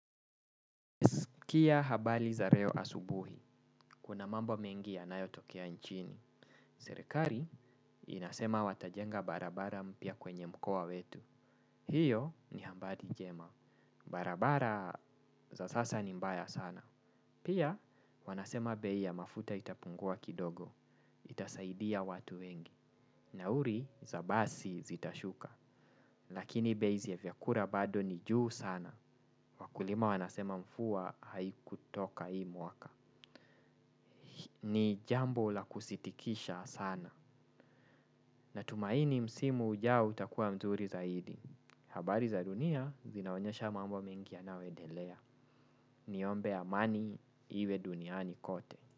Kia habali za reo asubuhi, kuna mambo mengi ya nayo tokea nchini. Serekari inasema watajenga barabara mpya kwenye mkoa wetu. Hiyo ni hambari njema. Barabara za sasa ni mbaya sana. Pia wanasema bei ya mafuta itapungua kidogo. Itasaidia watu wengi. Na uri za basi zitashuka. Lakini bei za vyakura bado ni juu sana. Wakulima wanasema mfua haikutoka hii mwaka. Ni jambo la kusitikisha sana. Na tumaini msimu ujao utakuwa mzuri zaidi. Habari za dunia zinaonyesha mambo mengi yanayoendelea. Niombe amani iwe duniani kote.